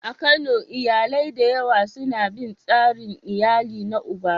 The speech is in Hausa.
A Kano, iyalai da yawa suna bin tsarin iyali na uba.